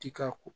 Ti ka ko